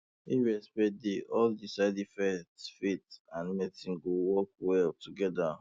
if respect dey all di sides faith and medicine go work well together